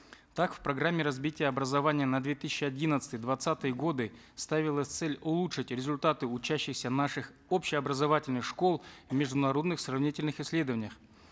так в программе развития образования на две тысячи одиннадцатый двадцатые годы ставилась цель улучшить результаты учащихся наших общеобразовательных школ в международных сравнительных исследованиях